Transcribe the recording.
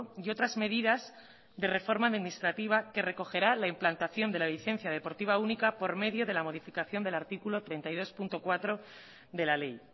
y otras medidas de reforma administrativa que recogerá la implantación de la licencia deportiva única por medio de la modificación del artículo treinta y dos punto cuatro de la ley